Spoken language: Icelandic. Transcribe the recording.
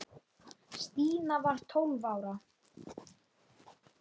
Stína var tólf ára.